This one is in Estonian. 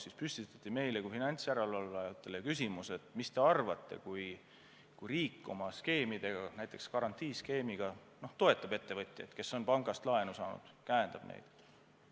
Seal püstitati meile kui finantsjärelevalvajatele küsimus: mis te arvate, kui riik oma skeemidega, näiteks garantiiskeemiga toetaks ettevõtjaid, kes on pangast laenu saanud, käendaks neid?